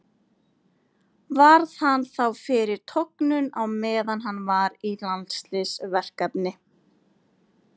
Varð hann þá fyrir tognun á meðan hann var í landsliðsverkefni.